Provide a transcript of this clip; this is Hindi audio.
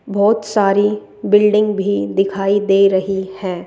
बहुत सारी बिल्डिंग भी दिखाई दे रही हैं।